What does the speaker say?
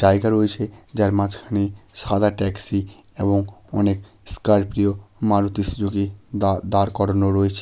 যায়গা রয়েছে যার মাঝখানে সাদা ট্যাক্সি এবং অনেক স্করপিও মারুতি সুজুকি দা- দাঁড় করানো রয়েছে--